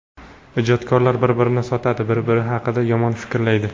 Ijodkorlar bir-birini sotadi, bir-biri haqida yomon fikrlaydi.